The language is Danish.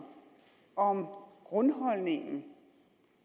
om grundholdningen